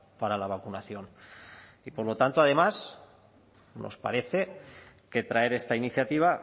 para la vacunación y por lo tanto además nos parece que traer esta iniciativa